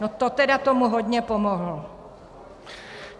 No to tedy tomu hodně pomohl!